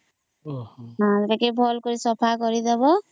ଟିକେ ଭଲ କରି ସଫା କରିଦେବା